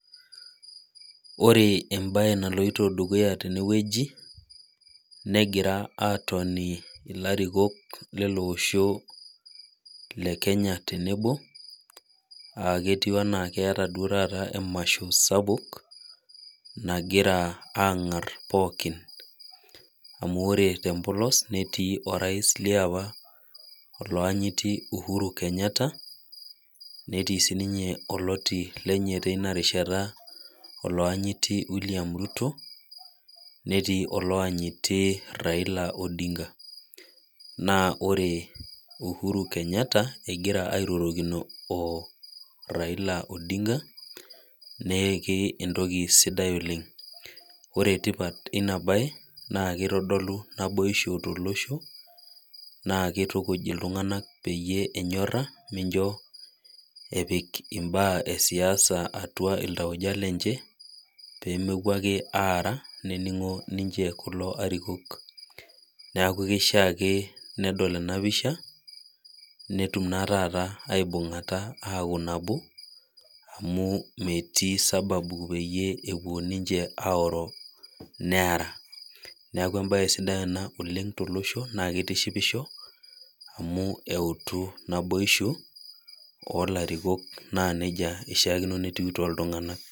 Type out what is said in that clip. Orebembae naloito dukuya tenewueji negira atoni larikok lolosho lekenya tenebo aketii ana keeta duo taata emasho sapuk nagira angar pooki amu ore tembolos netii orais liapa oloanyiti uhuru kenyatta netii oloti lenye tinakata oloanyiti william ruto netii oloanyiti raila odinga na ore uhuru kenyata egira airorokino raila odinga na entoki sida oleng ore tipata enabae na kitadolu tipat olosho na kitikuj ltunganak penyoraa pemepik ntokitin esiasa atua oltu lenche pemepuo ake aara neningo larikok neaku kishaa ake nedol tenapisha netum aibungata aaku nabo amu metii sababu peyie epuo ninche aoro neara neaku embae sidai ena tolosho na kitishipisho amu euto naboisho olarikok na nejia ishaa peaku toltunganak.